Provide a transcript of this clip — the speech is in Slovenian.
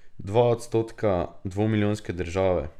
Dva odstotka dvomilijonske države!